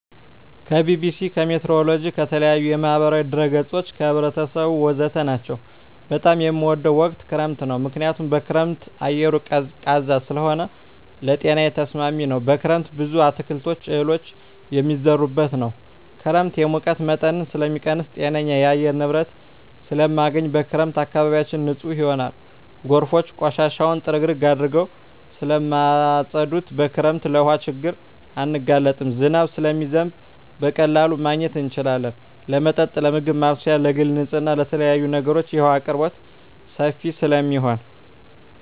ከቢቢሲ, ከሜትሮሎጅ, ከተለያዪ የማህበራዊ ድረ ገፆች , ከህብረተሰቡ ወዘተ ናቸው። በጣም የምወደው ወቅት ክረምት ነው ምክንያቱም በክረምት አየሩ ቀዝቃዛ ስለሆነ ለጤናዬ ተስማሚ ነው። በክረምት ብዙ አትክልቶች እህሎች የሚዘሩበት ነው። ክረምት የሙቀት መጠንን ስለሚቀንስ ጤነኛ የአየር ንብረት ስለማገኝ። በክረምት አካባቢያችን ንፁህ ይሆናል ጎርፎች ቆሻሻውን ጥርግርግ አድርገው ስለማፀዱት። በክረምት ለውሀ ችግር አንጋለጥም ዝናብ ስለሚዘንብ በቀላሉ ማግኘት እንችላለን ለመጠጥ ለምግብ ማብሰያ ለግል ንፅህና ለተለያዪ ነገሮች የውሀ አቅርቦት ሰፊ ስለሚሆን።